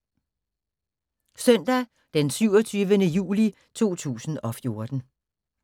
Søndag d. 27. juli 2014